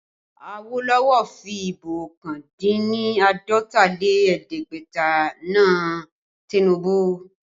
Awolowo fi Ìbò ọkàn dín ní àádọ́ta lé ẹ̀ẹ́dẹ́gbẹ̀ta na Tinubu